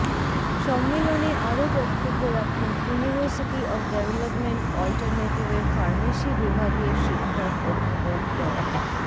সম্মেলনে আরও বক্তব্য রাখেন ইউনিভার্সিটি অব ডেভেলপমেন্ট অলন্টারনেটিভের ফার্মেসি বিভাগের শিক্ষক অধ্যাপক ড